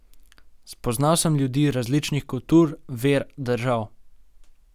Spoznal sem ljudi različnih kultur, ver, držav.